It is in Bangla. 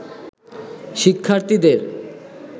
শিক্ষার্থীদের